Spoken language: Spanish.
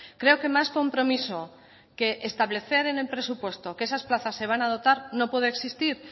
creo que más compromiso que establecer en el presupuesto que esas plazas se van a dotar no puede existir